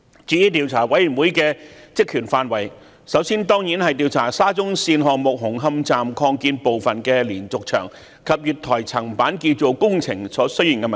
至於調查委員會的職權範圍，首先當然是調查沙中線項目紅磡站擴建部分的連續牆及月台層板建造工程所出現的問題。